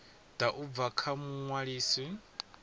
ḓa u bva kha muṅwalisi